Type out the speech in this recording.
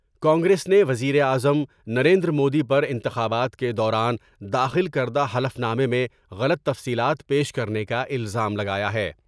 کانگریس نے وزیراعظم نریندرمودی پر انتخابات کے دوران داخل کردا حلف نامے میں غلط تفصیلات پیش کرنے کا الزام لگایا ہے ۔